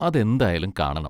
അതെന്തായാലും കാണണം.